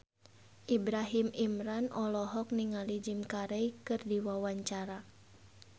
Ibrahim Imran olohok ningali Jim Carey keur diwawancara